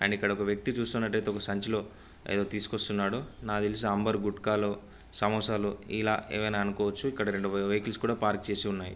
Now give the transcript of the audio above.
And ఇక్కడ ఒక వేక్తి చూస్తున్నటైతే ఒక సంచి లో ఏదో తీసుకొస్తున్నాడు నాకు తెల్సి అంబర్ గుట్కాలు సమోసా లు ఇలా ఏమయినా అనుకోవచ్చు ఇక్కడ రెండు వెహికల్స్ కూడా పార్క్ చేసి ఉన్నాయి.